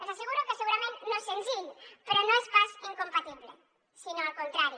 els asseguro que segurament no és senzill però no és pas incompatible sinó al contrari